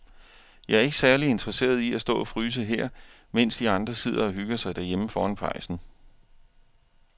Jeg er ikke særlig interesseret i at stå og fryse her, mens de andre sidder og hygger sig derhjemme foran pejsen.